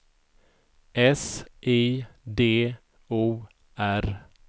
S I D O R